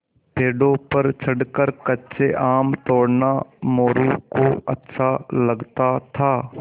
पेड़ों पर चढ़कर कच्चे आम तोड़ना मोरू को अच्छा लगता था